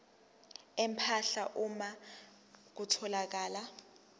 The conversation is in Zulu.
empahla uma kutholakala